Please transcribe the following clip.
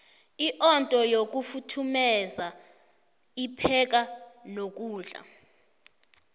iondo yokufuthumeru ipheka nokudla